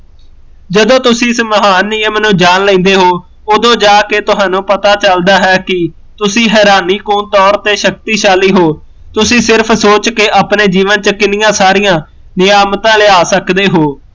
ਜਦੋਂ ਤੁਸੀਂ ਇਸ ਮਹਾਨ ਨਿਯਮ ਨੂੰ ਜਾਣ ਲੈਂਦੇ ਹੋ, ਉਦੋਂ ਜਾਕੇ ਤੁਹਾਨੂ ਪਤਾ ਲੱਗਦਾ ਹੈ ਕੀ ਤੁਸੀਂ ਹੈਰਾਨੀ ਕੁ ਤੋਰ ਤੇ ਸ਼ਕਤੀਸ਼ਾਲੀ ਹੋ ਤੁਸੀਂ ਸਿਰਫ਼ ਸੋਚ ਕੇ ਆਪਣੇ ਜੀਵਨ ਚ ਕਿੰਨੀਆ ਸਾਰੀਆ ਨਿਆਮਤਾਂ ਲਿਆ ਸਕਦੇ ਹੋ